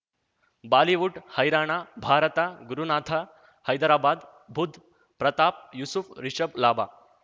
Bollywood ಹೈರಾಣ ಭಾರತ ಗುರುನಾಥ ಹೈದರಾಬಾದ್ ಬುಧ್ ಪ್ರತಾಪ್ ಯೂಸುಫ್ ರಿಷಬ್ ಲಾಭ